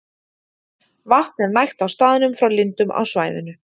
Vatn er nægt á staðnum frá lindum á svæðinu.